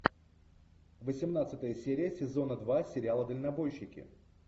восемнадцатая серия сезона два сериала дальнобойщики